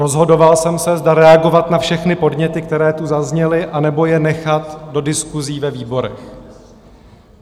Rozhodoval jsem se, zda reagovat na všechny podněty, které tu zazněly, anebo je nechat do diskusí ve výborech.